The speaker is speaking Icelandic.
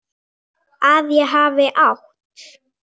Að ég hafi átt.?